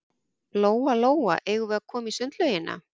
Lóa-Lóa, eigum við að koma í sundlaugina?